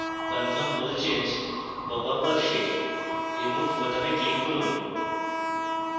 confirm role change popup box remove বোতামে click করুন